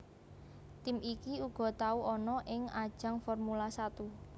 Tim iki uga tau ana ing ajang Formula Satu